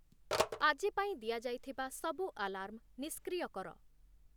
ଆଜି ପାଇଁ ଦିଆଯାଇଥିବା ସବୁ ଆଲାର୍ମ ନିଷ୍କ୍ରିୟ କର।